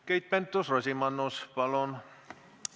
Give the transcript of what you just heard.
Keit Pentus-Rosimannus, palun!